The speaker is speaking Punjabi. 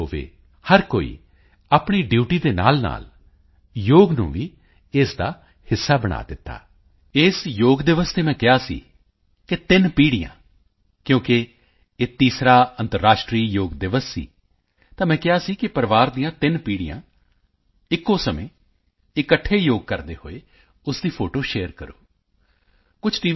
ਹੋਵੇ ਹਰ ਕੋਈ ਆਪਣੀ ਡਿਊਟੀ ਦੇ ਨਾਲਨਾਲ ਯੋਗ ਨੂੰ ਵੀ ਇਸ ਦਾ ਹਿੱਸਾ ਬਣਾ ਦਿੱਤਾ ਇਸ ਯੋਗ ਦਿਵਸ ਤੇ ਮੈਂ ਕਿਹਾ ਸੀ ਕਿ 3 ਪੀੜ੍ਹੀਆਂ ਕਿਉਂਕਿ ਇਹ ਤੀਸਰਾ ਅੰਤਰਰਾਸ਼ਟਰੀ ਯੋਗ ਦਿਵਸ ਸੀ ਤਾਂ ਮੈਂ ਕਿਹਾ ਸੀ ਕਿ ਪਰਿਵਾਰ ਦੀਆਂ ਤਿੰਨੋ ਪੀੜ੍ਹੀਆਂ ਇੱਕੋ ਸਮੇਂ ਇਕੱਠੇ ਯੋਗ ਕਰਦੇ ਹੋਏ ਉਸ ਦੀ ਫੋਟੋ ਸ਼ੇਅਰ ਸ਼ੇਅਰ ਕਰੋ ਕੁਝ ਟੀ